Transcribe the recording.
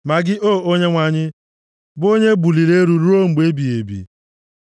Ma gị, O Onyenwe anyị, bụ onye e buliri elu ruo mgbe ebighị ebi.